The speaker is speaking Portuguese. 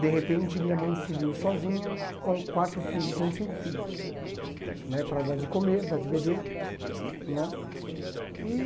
De repente, minha mãe se viu sozinha com quatro filho com cinco filhos n[e, para dar de comer, dar de beber né e.